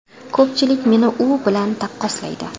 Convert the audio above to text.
Ko‘pchilik meni u bilan taqqoslaydi.